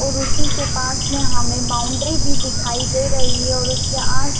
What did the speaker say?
और उसी के पास में हमे बाउंड्री भी दिखाई दे रही है और उसके आस--